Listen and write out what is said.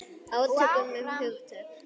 Átök um hugtök.